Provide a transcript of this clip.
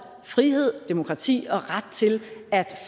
frihed demokrati og ret til at